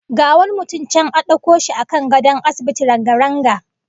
Ga wani mutum can a dauko shi a kan gadon asibiti ranga-ranga